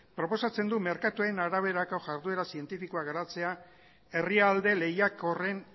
proposatzen du merkatuen araberako jarrera zientifikoa garatzea herrialde lehiakorren